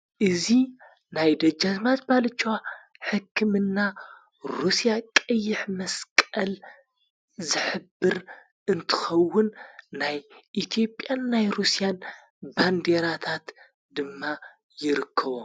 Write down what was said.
እዙ ናይ ደጃዝማት ባለችዋ ሕክምና ሩስያ ቐይሕ መስቀል ዘኅብር እንትኸውን ናይ ኢቲጵያን ናይ ሩስያን ባንዲራታት ድማ ይርክቦ